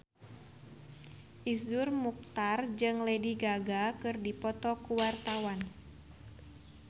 Iszur Muchtar jeung Lady Gaga keur dipoto ku wartawan